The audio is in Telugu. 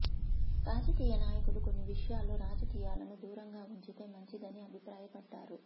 రాజకీయ నాయకులు కొన్ని విషయాల్లో రాజకీయాలను దూరంగా ఉంచితే మంచిదని అభిప్రాయపడ్డారు